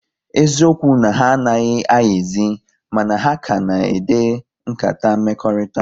Eziokwu na ha anaghị ayizi, mana ha ka na-ede nkata mmekọrịta